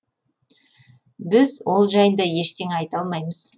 біз ол жайында ештеңе айта алмаймыз